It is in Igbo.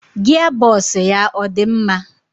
Gia bos ya ọ dị mma?